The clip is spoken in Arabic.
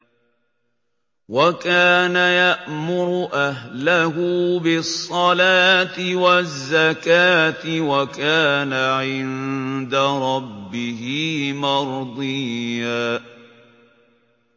وَكَانَ يَأْمُرُ أَهْلَهُ بِالصَّلَاةِ وَالزَّكَاةِ وَكَانَ عِندَ رَبِّهِ مَرْضِيًّا